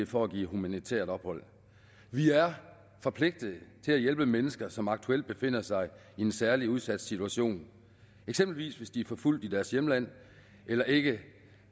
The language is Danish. for at give humanitært ophold vi er forpligtet til at hjælpe mennesker som aktuelt befinder sig i en særlig udsat situation eksempelvis hvis de er forfulgt i deres hjemland eller ikke